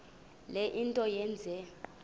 le nto yenze